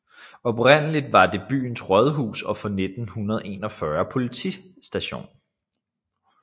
Oprindeligt var det byens rådhus og fra 1941 politistation